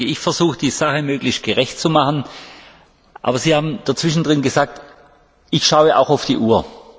Ich versuche, die Sache möglichst gerecht zu machen, aber sie haben zwischendrin gesagt Ich schaue auch auf die Uhr.